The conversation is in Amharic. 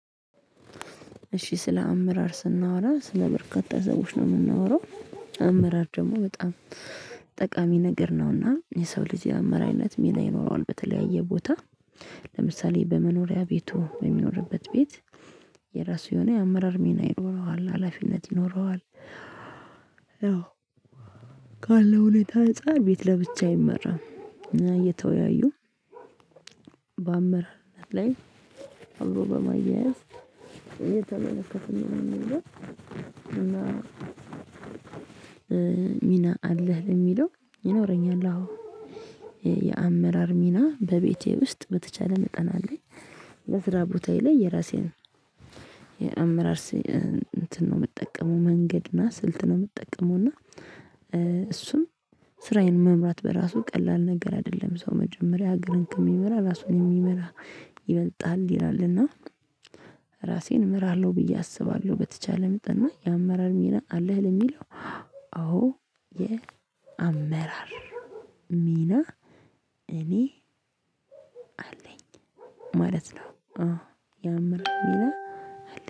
እሺ ስለ አመራር ስናወራ ስለ በርካታ ሰዎች ነው የምናወራው። አመራር ደግሞ በጣም ጠቃሚ ነገር ነውና የሰው ልጅ የአመራርነት ምና ይኖረዋል በተለያየ ቦታ ለምሳሌ በመኖሪያ ቤቱ በሚኖርበት ቤት የራሱ የሆነ የአመራር ሚና ይኖረዋል ሀላፊነት ይኖረዋል። አዎ ካለው ሁኔታ አንፃር ቤት ለብቻ አይመራም። እየተወያዩ በአመራር ላይ አብሮ በማያያዝ እየተመለከትን ነው የሚለው። እና ሚና አለህ የሚለው ይኖረኛል አዎ። የአመራር ሚና በቤቴ ውስጥ በተቻለ መጠን። በስራ ቦታዬ ላይ የራሴን የአመራር እንትን ነው የምጠቀመው መንገድ እና ስልት ነው የምጠቀመው። እና እሱም ስራዬን መምራት በራሱ ቀላል ነገር አይደለም። ሰው መጀመሪያ ሀገርን ከሚመራ ራሱን የሚመራ ይበልጣል ይላል። እና ራሴን እመራለሁ ብዬ አስባለሁ። በተቻለ መጠን እና የአመራር ሚና አለህ የሚለው? አዎ የአመራር አመራር ሚና እኔ አለኝ ማለት ነው። ያመራር ሚና